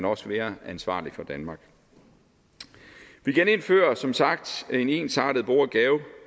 også mere ansvarlig for danmark vi genindfører som sagt en ensartet bo og